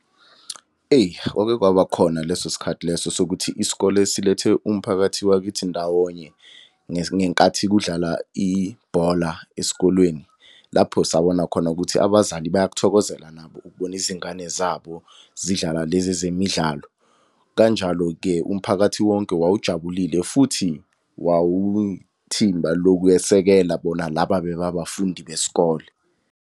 Eyi kwake kwabakhona leso sikhathi leso sokuthi isikole silethe umphakathi wakithi ndawonye, ngenkathi kudlala ibhola esikolweni. Lapho sabona khona ukuthi abazali bayakuthokozela nabo ukubona izingane zabo zidlala lezi ezemidlalo. Kanjalo-ke umphakathi wonke wawujabulile futhi wawuyithimba lokwesekela bona laba bebe yabafundi besikole.